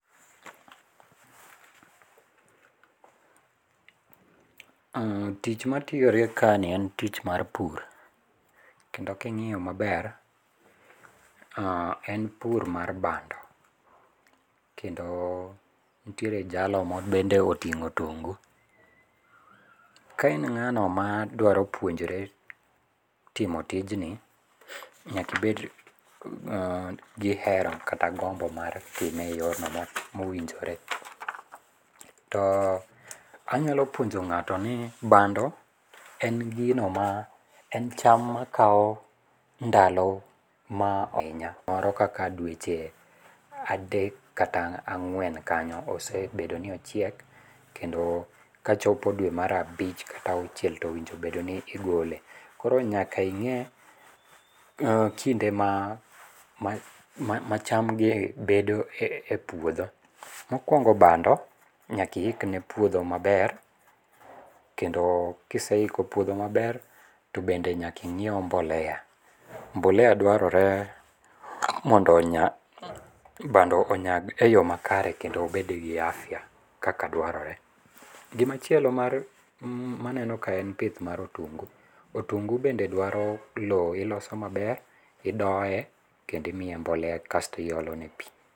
pause eh, tich matire kaeni en tich mar pur. Kendo king'iyo maber. oh en pur mar bando kendo nitiere jalo ma bende oting'o otungu. Kain ng#ano ma dwaro puonjre timo ztijni, nyaka ibed gi hera kata gombo m,ar time eyorno mowinjore. To anyalo puonjo ng'ato ni bando en gino ma en cham makawo ndalo ma ohin moro kaka dweche adek kata ang'wen kanyo osebedo ni ochiek. Kendo kachopo dwe mar abich kata auchiel to onego bed ni igole. Koro nyaka ing'e kinde ma cham gi bedo e puodho. Mokuongo bando nyaka iikne puodho maber. Kendo ka iseiko puodho maber, to bende nyaka ing'iew mbolea. Mbolea dwarore mondo onya bando onyag eyo makare kendo obed gi afya kaka dwarore. Gima chielo mar maneno kae en pith mar otungu. Otungu bende dwaro lowo iloso maber, idoye kendo imiye mbolea kasto iolone pi.